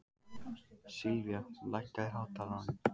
Silvía, lækkaðu í hátalaranum.